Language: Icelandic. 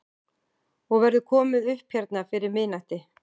Og verður komið upp hérna fyrir miðnætti?